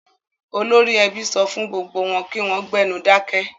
Olórí ẹbí ọ fún gbogbo wọn kí wọ́n gbénu dákẹ́.